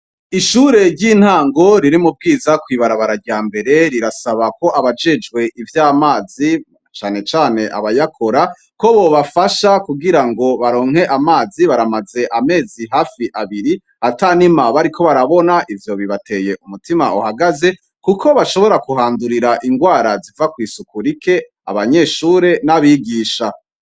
Ishure ry' intango riri mu Bwiza kw' ibarabara rya mbere rirasaba ko abajejwe ivy' amazi cane cane abayakora , ko bobafasha kugirango baronke amazi baramaze hafi amezi abiri atanima bariko barabona ivyo bibateye umutima uhagaze kuko bashobora kuhandurira ingwara ziva kw' isuku rike, abanyeshure n' abigisha.